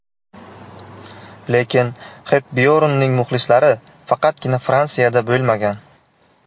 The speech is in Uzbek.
Lekin Xepbyornning muxlislari faqatgina Fransiyada bo‘lmagan.